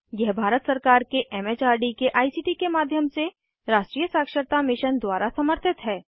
यह भारत सरकार के एम एच आर डी के आई सी टी के माध्यम से राष्ट्रीय साक्षरता मिशन द्वारा समर्थित है